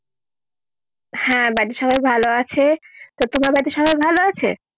হ্যাঁ বাড়ির সবাই ভালো আছে। তো তোমার বাড়িতে সবাই ভালো আছে?